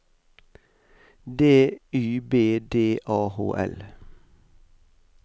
D Y B D A H L